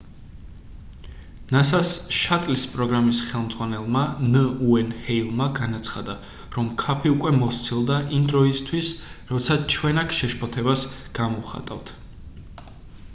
nasa-ს შატლის პროგრამის ხელმძღვანელმა ნ. უეინ ჰეილმა განაცხადა რომ ქაფი უკვე მოსცილდა იმ დროისთვის როცა ჩვენ აქ შეშფოთებას გამოვხატავთ